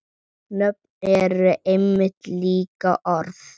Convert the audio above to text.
Nöfn eru einmitt líka orð.